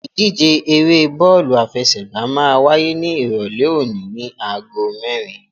Ìdíje eré bọ́ọ̀lù àfẹsẹ̀gbá máa wáyé ní Ìrọ̀lẹ́ òní ní agogo mẹ́rin.